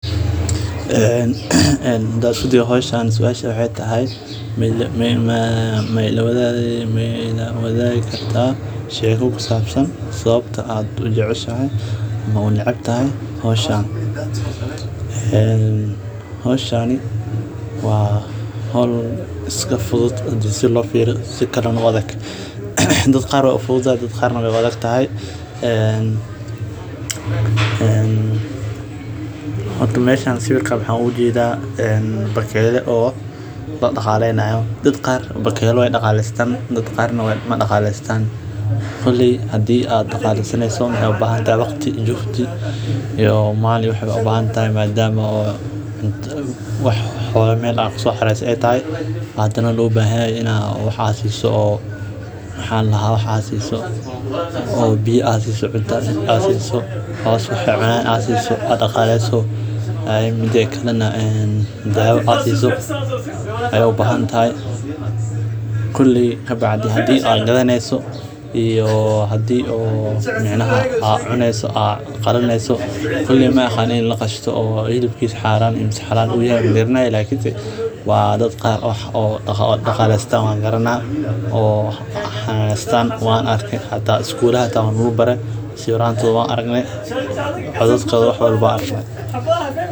Ee hadan isku dayo meshan suasha waxee tahay mailawadhigi kartaa sheko kusabsan sawabta aad ujeceshahay ama aa unecebtahay hoshan hoshani wa hol iska fudud hadii si lo firiyo sikalana u adhag dad qar wy ufududahay dad qar bakeyla wey daqalestan dad qarnah hadaa daqalesaneyso waxee ubahantahay dadhal juhdi iyo mal iyo wax ayey u bahan tahay madama ok wax xola meel kuso xareyse ee taho maxaa ladaha wax aa siso oo biya aa siso cunta aa siso biya aa siso oo cos aa siso oo aa daqaleyeso ee dawa aa siso ayey u bahantahay koley bacdi hada gadhaneyso iyo hadii aa cuneyso koley magaranayi in aalaqasho oo hilibkisa u xaran yahay waa dad qar oo daqalestan wan arke hata isgulatka waa lagu bare sawirantodha wan aragne mesha.